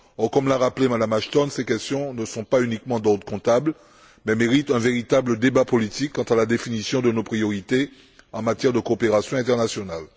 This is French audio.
Comme l'a rappelé Mme Ashton, ces questions ne sont pas uniquement d'ordre comptable mais méritent un véritable débat politique quant à la définition de nos priorités en matière de coopération internationale.